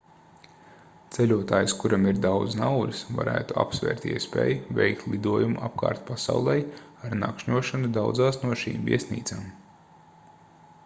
ceļotājs kuram ir daudz naudas varētu apsvērt iespēju veikt lidojumu apkārt pasaulei ar nakšņošanu daudzās no šīm viesnīcām